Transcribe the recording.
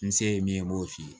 N se ye min ye n b'o f'i ye